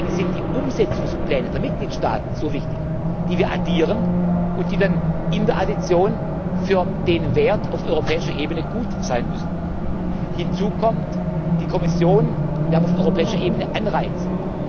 Deshalb sind die Umsetzungspläne der Mitgliedstaaten so wichtig, die wir addieren und die dann in der Addition für den Wert auf europäischer Ebene gut sein müssen. Hinzu kommt die Kommission Wir haben auf europäischer Ebene Anreize.